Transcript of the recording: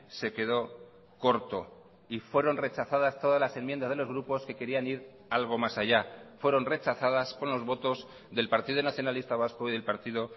se quedó corto y fueron rechazadas todas las enmiendas de los grupos que querían ir algo más allá fueron rechazadas con los votos del partido nacionalista vasco y del partido